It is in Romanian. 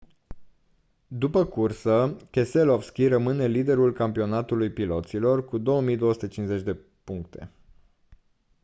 după cursă keselowski rămâne liderul campionatului piloților cu 2250 de puncte